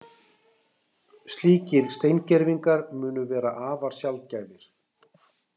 Slíkir steingervingar munu vera afar sjaldgæfir